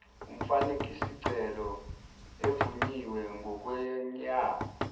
umfakisicelo evunyiwe ngokweyame